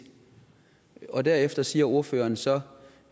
og derefter siger ordføreren så